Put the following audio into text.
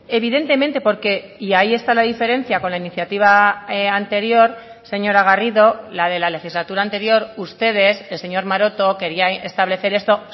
evidentemente porque y ahí está la diferencia con la iniciativa anterior señora garrido la de la legislatura anterior ustedes el señor maroto quería establecer esto